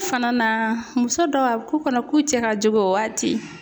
Fana na, muso dɔw a bɛ k'u kɔnɔ k'u cɛ ka jugu o waati.